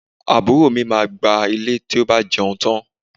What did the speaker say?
Àbúrò mi máa gbá ilẹ̀ tí ó bá jẹun tán